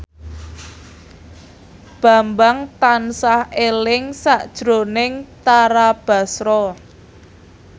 Bambang tansah eling sakjroning Tara Basro